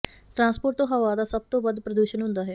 transport ਤੋਂ ਹਵਾ ਦਾ ਸਭ ਤੋਂ ਵੱਧ ਪ੍ਰਦੂਸ਼ਣ ਹੁੰਦਾ ਹੈ